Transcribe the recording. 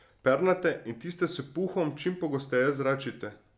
Pernate in tiste s puhom čim pogosteje zračite.